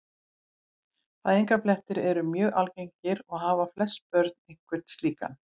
Fæðingarblettir eru mjög algengir og hafa flest börn einhvern slíkan.